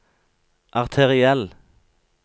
arteriell